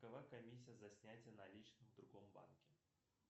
какова комиссия за снятие наличных в другом банке